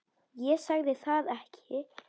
Það sagði ég ekki